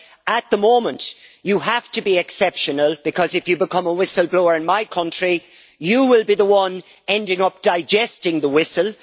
At the moment, you have to be exceptional if you become a whistle blower in my country, you will be the one ending up digesting the whistle.